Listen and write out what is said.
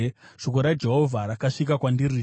Shoko raJehovha rakasvika kwandiri, richiti,